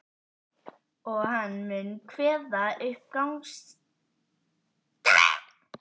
Og hann mun kveða upp gagnstæðan úrskurð.